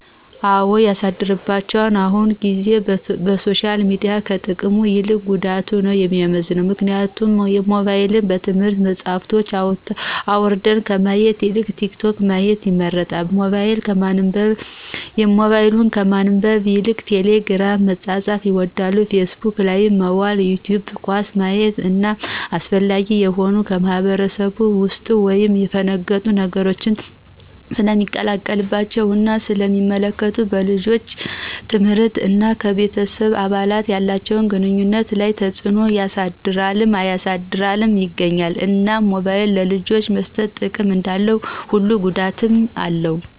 አው ያሳድርባቸዋል አሁን ጊዜ በሶሻል ሚዲያው ከጥቅሙ ይልቅ ጉዳቱ ነው የሚመዝነው ምክንያቱም ሞባይልን የትምህርት መፅሐፎችን አውራድን ከማየት ይልቅ ቲክቶክ ማየት ይመርጣሉ በሞባይል ከማንበብ ይልቅ ቴሊግርም መፃፃፍን ይወዳሉ ፊስቡክ ላይ መዋል ይቲውብ ኳስ ማየት እነ አላስፈላጊ የሆኑ ከማህብረስብ የውጡ ወይም የፈነገጡ ነገሮች ሰለሚለቀቀባቸው እና ስለ ሚመለከቱ በልጆቻችን ትምህርት እና ከቤተሰብ አባላት ያላቸውን ግኑኝነት ላይ ተፅዕኖ ያሰድርልም እያሳደረም ይገኛል። እናም ሞባይል ለልጆች መሰጠት ጥቅም እንዳለው ሁሉ ጉዳትም አለው